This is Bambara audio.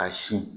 A sin